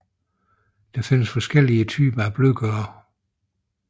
Der findes forskellige typer af blødgørere